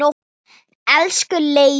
Elsku Leifi.